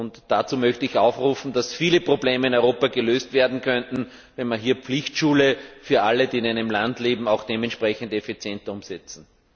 In diesem Sinne möchte ich aufrufen, dass viele Probleme in Europa gelöst werden könnten, wenn wir hier eine Pflichtschule für alle, die in einem Land leben, auch dementsprechend effizient umsetzen.